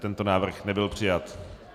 Tento návrh nebyl přijat.